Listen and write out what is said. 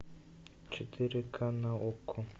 четыре ка на окко